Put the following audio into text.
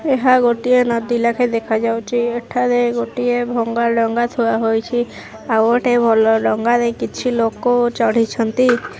ଏହା ଗୋଟିଏ ନଦୀ ଲେଖା ଦେଖାଯାଉଛି ଏଠାରେ ଗୋଟିଏ ଭଙ୍ଗା ଡଙ୍ଗା ଥୁଆ ହୋଇଛି ଆଉ ଗୋଟେ ଭଲ ଡଙ୍ଗାରେ କିଛି ଲୋକ ଚଢ଼ିଛନ୍ତି।